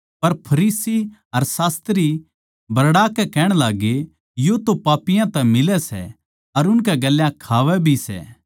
पर फरीसी अर शास्त्री बरड़ाकै कहण लाग्गे यो तो पापियाँ तै मिलै सै अर उनकै गेल्या खावै भी सै